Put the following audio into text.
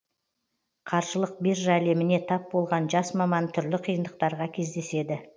қаржылық биржа әлеміне тап болған жас маман түрлі қиындықтарға кездеседі